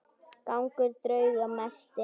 Gangur drauga mesti.